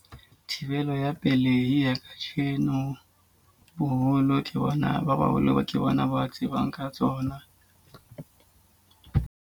Thibelo ya pelehi ya ka jeno boholo ke bona ba baholo ba ke bona ba tsebang ka tsona.